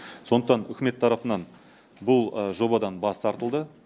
сондықтан үкімет тарапынан бұл жобадан бас тартылды